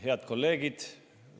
Head kolleegid!